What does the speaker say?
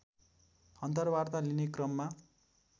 अन्तर्वार्ता लिने क्रममा